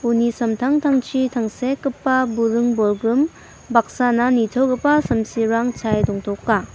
uni samtangtangchi tangsekgipa buring-bolgrim baksana nitogipa samsirang chae dongtoka.